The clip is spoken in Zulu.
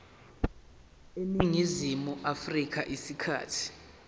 eningizimu afrika isikhathi